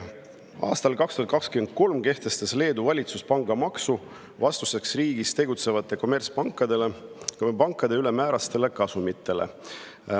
Aastal 2023 kehtestas Leedu valitsus pangamaksu vastuseks riigis tegutsevate kommertspankade ülemäärastele kasumitele.